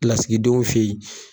Lasigidenw fɛ yen